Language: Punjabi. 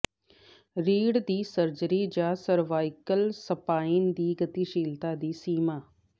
ਰੀੜ੍ਹ ਦੀ ਸਰਜਰੀ ਜਾਂ ਸਰਵਾਈਕਲ ਸਪਾਈਨ ਦੀ ਗਤੀਸ਼ੀਲਤਾ ਦੀ ਸੀਮਾ